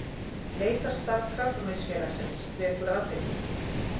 Leitarstarf Krabbameinsfélagsins vekur athygli